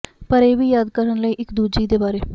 ਪਰ ਇਹ ਵੀ ਯਾਦ ਕਰਨ ਲਈ ਇੱਕ ਦੂਜੀ ਦੇ ਬਾਰੇ